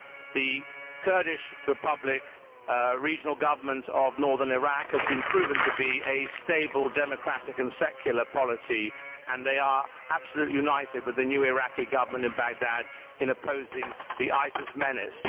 The Kurdish Regional Government of Northern Iraq has proven to be a stable democratic and secular polity and they are absolutely united with the new Iraqi Government in Baghdad in opposing the ISIS menace.